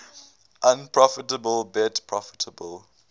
unprofitable bet profitable